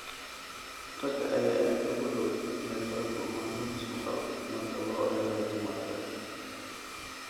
Ragga ayaa aad ugu dhow inay la kulmaan lumis maqal marka loo eego dumarka.